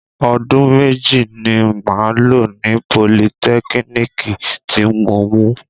Ọdún méjì ni màá lọ ní politẹ́kínìkì tí mo mú